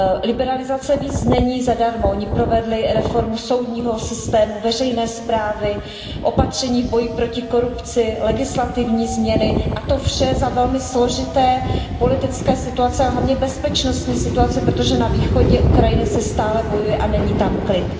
Liberalizace víz není zadarmo, oni provedli reformu soudního systému, veřejné správy, opatření v boji proti korupci, legislativní změny, a to vše za velmi složité politické a hlavně bezpečnostní situace, protože na východě Ukrajiny se stále bojuje a není tam klid.